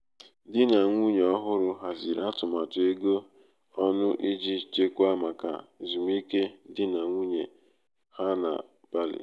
di na nwunye ọhụrụ haziri atụmatụ ego ọnụ iji chekwaa maka ezumike di na nwunye ha na bali.